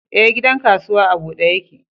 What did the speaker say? Ee, gidan kasuwa a bude yake.